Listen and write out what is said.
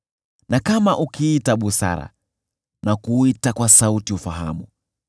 na kama ukiita busara na kuita kwa sauti ufahamu,